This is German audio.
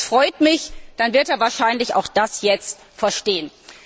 Das freut mich, dann wird er wahrscheinlich auch das jetzt verstehen.